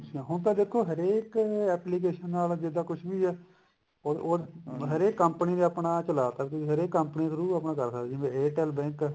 ਅੱਛਾ ਹੁਣ ਤਾਂ ਦੇਖੋ ਹਰੇਕ application ਨਾਲ ਜਿਦਾਂ ਕੁੱਛ ਵੀ ਐ ਉਹ ਉਹ ਹਰੇਕ company ਨੇ ਆਪਣਾ ਚਲਾਤਾ ਕਿਉਂਕਿ ਹਰੇਕ company ਦੇ through ਆਪਾ ਕਰ ਸਕਦੇ ਆ ਜਿਵੇਂ airtel bank